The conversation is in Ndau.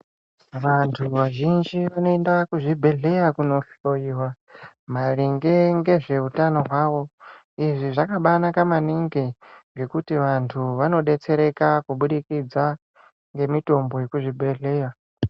Vantu vazhinji vanoenda kuzvibhedhleya kunohloiwa, maringe ngezveutano hwavo. Izvi zvakabaanaka maningi, ngekuti vantu vanodetsereka kubudikidza ngemitombo yekuzvibhedhleya.